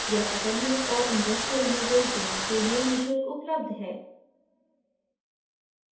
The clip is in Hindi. यह ऐकडेमिक और industrial users दोनों के लिए निःशुल्क उपलब्ध है